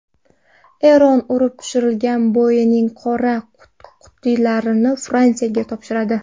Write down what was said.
Eron urib tushirilgan Boeing qora qutilarini Fransiyaga topshiradi.